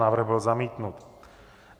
Návrh byl zamítnut.